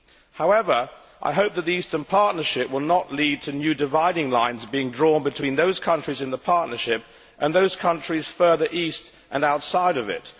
However, I hope that the Eastern Partnership will not lead to new dividing lines being drawn between those countries in the Partnership and those countries further east and outside of it.